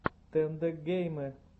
тэндэ геймэ